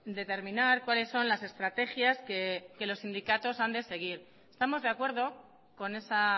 determinar cuáles son las estrategias que los sindicatos han de seguir estamos de acuerdo con esa